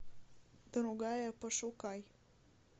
другая пошукай